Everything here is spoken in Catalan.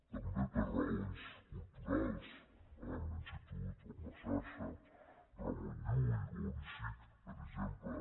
també per raons culturals amb l’institut o amb la xarxa ramon llull o l’icic per exemple